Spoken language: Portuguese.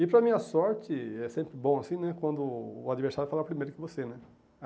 E para minha sorte, é sempre bom assim, né, quando o adversário fala primeiro que você, né.